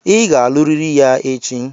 Ị ga-aluriri ya echi!